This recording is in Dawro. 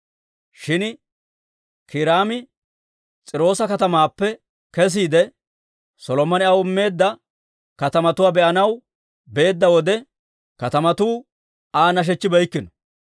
Shin Kiiraami S'iiroosa katamaappe kesiide, Solomone aw immeedda katamatuwaa be'anaw beedda wode, katamatuu Aa nashechchibeykkino.